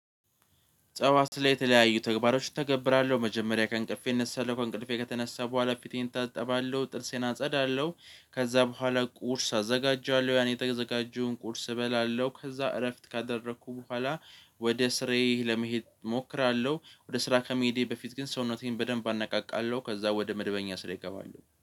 ጠዋት ላይ የተለያዩ ተግባሮች እተገብራለሁ መጀመሪያ ከእንቅልፌ እነሳለሁ ከእንቅልፌ ከተነሳሁ በኋላ ፊቴን እታጣባለሁ ጥርሴን አጸዳለሁ ከዛ በኋላ ቁርስ አዘጋጃለሁ ያን የተዘጋጀውን ቁርስ እበላለሁ ከዛ እረፍት ካደረኩ በኋላ ወደ ስራየ ለመሄድ እሞክራለሁ ወደ ስራ ከመሄዴ በፊት ግን ሰውነቴን በደንብ አናቃቃለሁ ከዛ ወደ መደበኛ ስራየ እገባለው